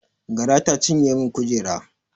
Gara ta cinye min kujera